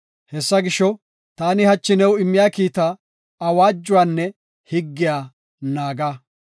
Hessa gisho, taani hachi new immiya kiita, awaajuwanne higgiya naaga.